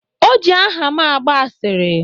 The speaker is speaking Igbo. O ji aha m agba asịrị